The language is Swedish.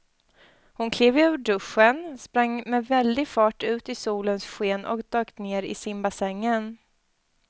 Hon klev ur duschen, sprang med väldig fart ut i solens sken och dök ner i simbassängen.